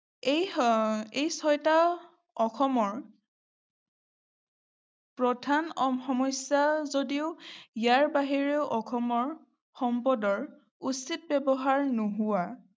এই আহ ছয়টা অসমৰ প্ৰধান সমস্যা যদিও ইয়াৰ বাহিৰেও অসমৰ সম্পদৰ উচিত ব্যৱহাৰ নোহোৱা